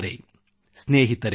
ಒಗ್ಗಟ್ಟೇ ಶಕ್ತಿ ಒಗ್ಗಟ್ಟೇ ಬಲ